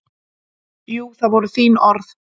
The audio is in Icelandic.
Jú, það voru þín orð.